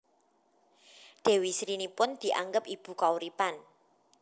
Dewi Sri nipun dianggep ibu kauripan